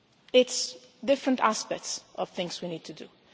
It is different aspects of things we need to do.